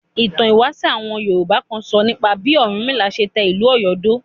Ìtàn ìwáṣẹ̀ àwọn Yorùbá kan sọ nípa bí Ọ̀rúnmìlà ṣe tẹ ìlú Ọ̀yọ́ dó.